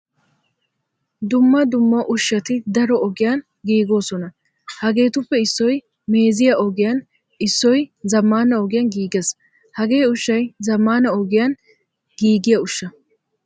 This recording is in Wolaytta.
Dumma dumma ushshati daro ogiyan giigosona. Hagettuppe issoy meeziyaa ogiyan issoy zamaana ogiyan giigees. Hagee ushshay zamaana ogiyan giigiyaa ushshaa.